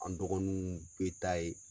An dɔgɔninw bɛ taa ye.